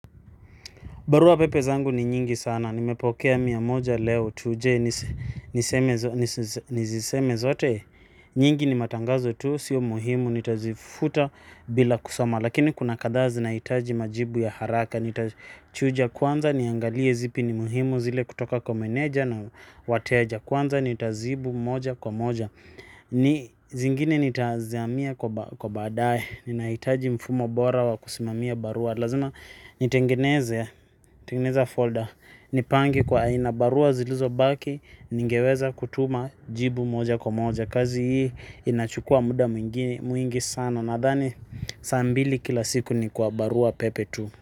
Barua pepe zangu ni nyingi sana, nimepokea mia moja leo tu je niseme niziseme zote, nyingi ni matangazo tu, sio muhimu, nitazifuta bila kusoma, lakini kuna kadhaa zinaitaji majibu ya haraka, nitachuja kwanza, niangalie zipi ni muhimu zile kutoka kwa meneja na wateja kwanza, nitazibu moja kwa moja. Ni zingine nitazamia kwa baadae. Ninahitaji mfumo bora wa kusimamia barua. Lazima nitengeneze. Tengeneze folder. Nipange kwa aina barua zilizo baki. Ningeweza kutuma jibu moja kwa moja. Kazi hii inachukua muda mwingi sana. Nadhani saa mbili kila siku ni kwa barua pepe tu.